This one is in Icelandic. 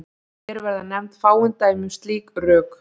Hér verða nefnd fáein dæmi um slík rök.